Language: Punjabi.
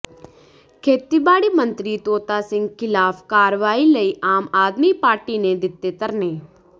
ਖੇਤੀਬਾੜੀ ਮੰਤਰੀ ਤੋਤਾ ਸਿੰਘ ਖਿਲਾਫ ਕਾਰਵਾਈ ਲਈ ਆਮ ਆਦਮੀ ਪਾਰਟੀ ਨੇ ਦਿੱਤੇ ਧਰਨੇ